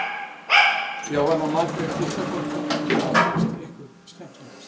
Jóhanna Margrét Gísladóttir: Hvað fannst ykkur skemmtilegast?